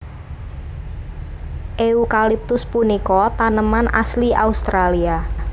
Eukaliptus punika taneman asli Australia